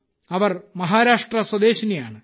അവർ Maharashtra സ്വദേശിനിയാണ്